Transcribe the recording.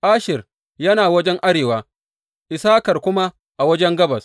Asher yana wajen arewa, Issakar kuma a wajen gabas.